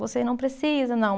Você não precisa, não.